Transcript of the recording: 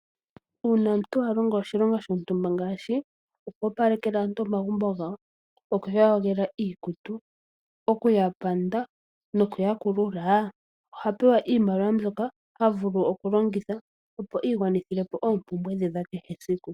Uuna omuntu along oshilongo shontumba ngaashi okwoopaleka aantu omagumbo gawo, okuyoga iikutu, okupanda nokukulula omuntu ohapewa iimaliwa ndjoka halongitha okwii gwanithilapo oompumbwe dhe dhakehe siku.